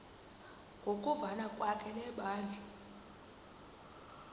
ngokuvana kwakhe nebandla